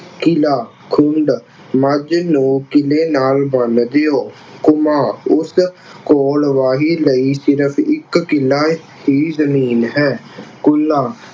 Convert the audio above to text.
ਕਿੱਲਾ ਖੁੰਡ ਮੱਝ ਨੂੰ ਕਿੱਲੇ ਨਾਲ ਬੰਨ੍ਹ ਦਿਉ। ਉਸ ਕੋਲ ਵਾਹੀ ਲਈ ਸਿਰਫ ਇੱਕ ਕਿੱਲਾ ਹੀ ਜ਼ਮੀਨ ਹੈ। ਕੁੱਲਾ